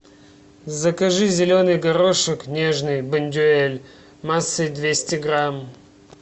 закажи зеленый горошек нежный бондюэль массой двести грамм